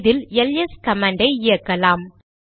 இதில் எல்எஸ் கமாண்டை இயக்கலாம்